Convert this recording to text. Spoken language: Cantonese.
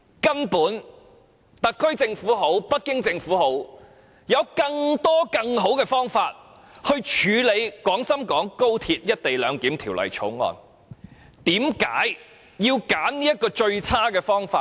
其實，無論是特區政府或北京政府，都有更多更好的方法處理《條例草案》，但為何偏要選擇這種最差的做法？